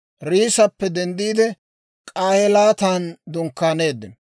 Riissappe denddiide, K'ahelaatan dunkkaaneeddino.